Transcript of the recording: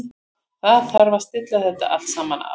Það þarf að stilla þetta allt saman af.